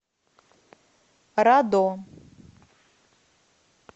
радо